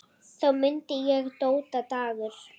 Þá mundi ég: Dóta Dagur.